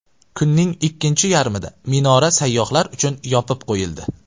Kunning ikkinchi yarmida minora sayyohlar uchun yopib qo‘yildi.